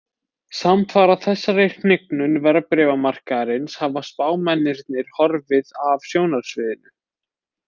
Samfara þessari hnignun verðbréfamarkaðarins hafa spámennirnir horfið af sjónarsviðinu.